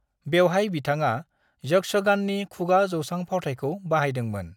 बेवहाय बिथाङा यक्षगाननि खुगा जौसां फावथायखौ बाहायदोंमोन।